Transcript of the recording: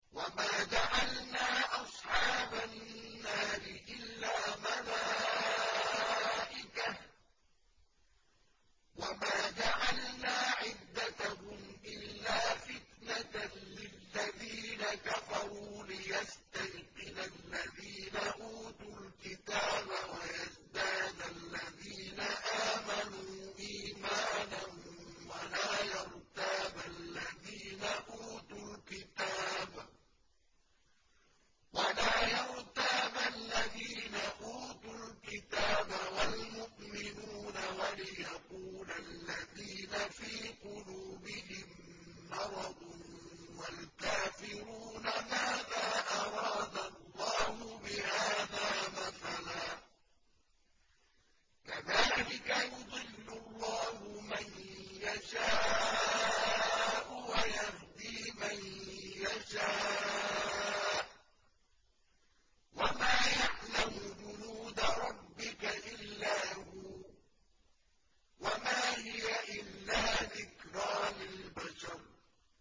وَمَا جَعَلْنَا أَصْحَابَ النَّارِ إِلَّا مَلَائِكَةً ۙ وَمَا جَعَلْنَا عِدَّتَهُمْ إِلَّا فِتْنَةً لِّلَّذِينَ كَفَرُوا لِيَسْتَيْقِنَ الَّذِينَ أُوتُوا الْكِتَابَ وَيَزْدَادَ الَّذِينَ آمَنُوا إِيمَانًا ۙ وَلَا يَرْتَابَ الَّذِينَ أُوتُوا الْكِتَابَ وَالْمُؤْمِنُونَ ۙ وَلِيَقُولَ الَّذِينَ فِي قُلُوبِهِم مَّرَضٌ وَالْكَافِرُونَ مَاذَا أَرَادَ اللَّهُ بِهَٰذَا مَثَلًا ۚ كَذَٰلِكَ يُضِلُّ اللَّهُ مَن يَشَاءُ وَيَهْدِي مَن يَشَاءُ ۚ وَمَا يَعْلَمُ جُنُودَ رَبِّكَ إِلَّا هُوَ ۚ وَمَا هِيَ إِلَّا ذِكْرَىٰ لِلْبَشَرِ